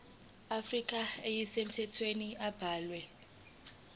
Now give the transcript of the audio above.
afrika ezisemthethweni abalwe